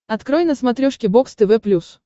открой на смотрешке бокс тв плюс